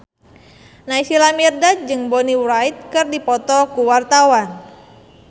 Naysila Mirdad jeung Bonnie Wright keur dipoto ku wartawan